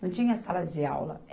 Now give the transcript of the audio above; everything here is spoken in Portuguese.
Não tinha salas de aula.